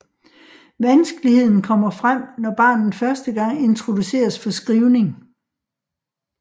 Vanskeligheden kommer frem når barnet første gang introduceres for skrivning